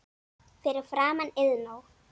Fyrir framan Iðnó.